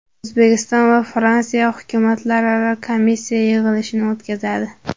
O‘zbekiston va Fransiya hukumatlararo komissiya yig‘ilishini o‘tkazadi.